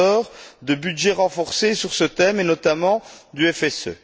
Andor de budget renforcé sur ce thème et notamment du FSE.